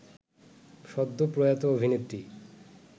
সদ্য প্রয়াত অভিনেত্রী